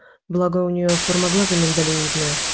благо у нее форма глаза миндалевидная